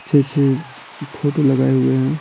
अच्छे-अच्छे फोटो लगाए हुए हैं।